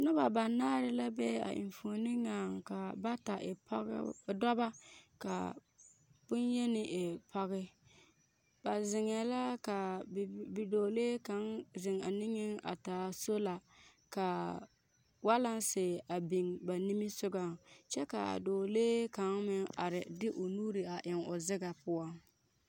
Noba banaare la be a enfuoni ŋaŋ ka bata e dɔbɔ ka bonyeni e pɔge. Ba zeŋɛɛ la ka bidɔɔlee kaŋa zeŋ a niŋeŋ a taa sola ka walansi a biŋ ba nimisogoŋ kyɛ ka a dɔɔlee kaŋa meŋ are de o nuuri a eŋ o zegɛ poɔ